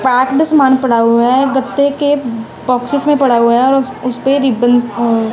park में सामान पड़ा हुआ है गत्ते के बॉक्सेस में पड़ा हुआ है और उस उसेपे रिबन --